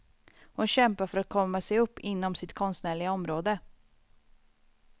Hon kämpar för att komma sig upp inom sitt konstnärliga område.